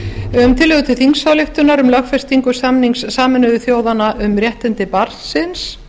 um tillögu til þingsályktunar um lögfestingu samnings sameinuðu þjóðanna um réttindi barnsins